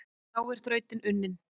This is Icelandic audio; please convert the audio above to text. Þá er þrautin unnin,